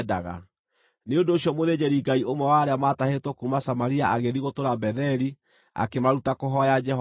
Nĩ ũndũ ũcio mũthĩnjĩri-Ngai ũmwe wa arĩa maatahĩtwo kuuma Samaria agĩthiĩ gũtũũra Betheli, akĩmaruta kũhooya Jehova.